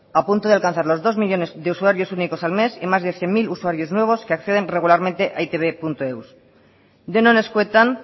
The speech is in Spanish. a punto de alcanzar los dos millónes de usuarios únicos al mes y más de cien mil usuarios nuevos que acceden regularmente a e i te beeus denon eskuetan